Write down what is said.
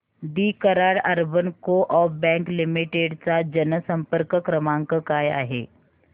दि Karad urban co-op bank limited चा जनसंपर्क क्रमांक काय आहे